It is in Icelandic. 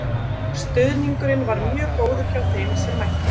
Stuðningurinn var mjög góður hjá þeim sem mættu.